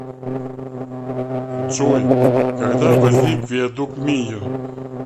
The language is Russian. джой когда возник виадук мийо